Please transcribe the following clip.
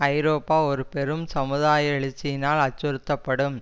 ஐரோப்பா ஒரு பெரும் சமுதாய எழுச்சியினால் அச்சுறுத்தப்படும்